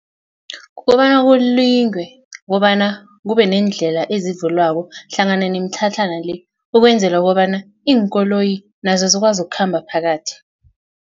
Kukobana kulindwe kobana kube neendlela ezivulwako hlangana nemitlhatlhana le ukwenzela kobana iinkoloyi nazo zikwazi ukukhamba phakathi.